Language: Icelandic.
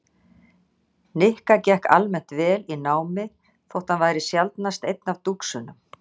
Nikka gekk almennt vel í námi þótt hann væri sjaldnast einn af dúxunum.